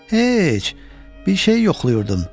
Ey, heç, bir şeyi yoxlayırdım.